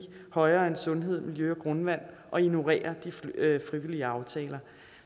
højere end sundhed miljø og grundvand og ignorerer de frivillige aftaler